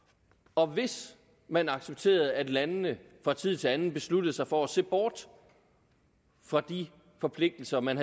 og hvis man accepterede at landene fra tid til anden besluttede sig for at se bort fra de forpligtelser man